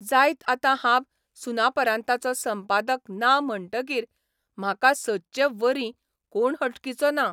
जायत आतां हांब ' सुनापरान्ताचो' संपादक ना म्हणटकीर म्हाका सदचे वर्री कोण हटकिचो ना.